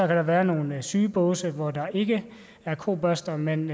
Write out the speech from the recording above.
der være nogle sygebåse hvor der ikke er kobørster men